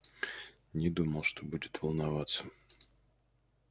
не думал что будет волноваться